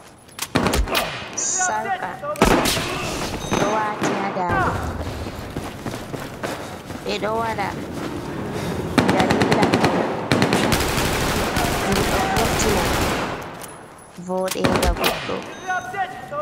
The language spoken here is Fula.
Sarka ɗo waati haa ndaande, ɓe ɗo waɗa daliila pawne, ɗum ɗo vurtina voɗeenga goɗɗo.